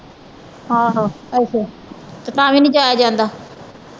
ਤੇ ਤਾ ਵੀ ਨਹੀਂ ਜਾਇਆ ਜਾਂਦਾ।